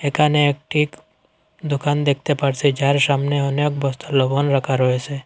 এখানে একটিভ দোকান দেখতে পারছি যার সামনে অনেক বস্তা লবণ রাখা রয়েসে।